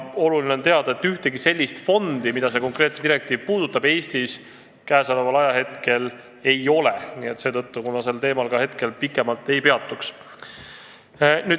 Oluline on teada, et ühtegi sellist fondi, mida see konkreetne direktiiv puudutab, Eestis praegu ei ole, seetõttu ma sellel teemal praegu ka pikemalt ei peatu.